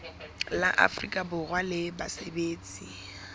la afrika borwa la basebetsi